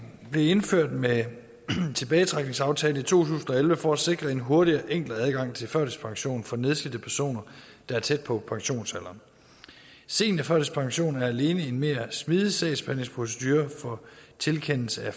blev indført med tilbagetrækningsaftalen i to tusind og elleve for at sikre en hurtigere og enklere adgang til førtidspension for nedslidte personer der er tæt på pensionsalderen seniorførtidspension er alene en mere smidig sagsbehandlingsprocedure for tilkendelse af